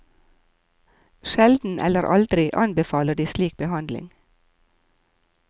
Sjelden eller aldri anbefaler de slik behandling.